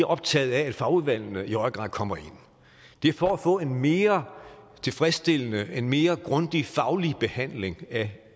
optaget af at fagudvalgene i høj grad kommer ind det er for at få en mere tilfredsstillende en mere grundig faglig behandling af